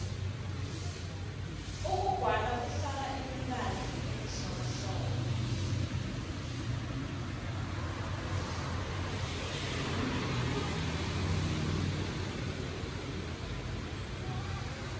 ukugwala kufaka imibala emihlobohlobo